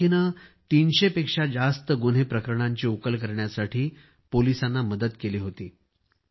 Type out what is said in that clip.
या रॉकीने 300 पेक्षा जास्त गुन्हे प्रकरणांची उकल करण्यासाठी पोलिसांना मदत केली होती